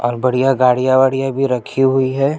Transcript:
और बढ़िया गाड़िया-वाडिया भी रखी हुई है।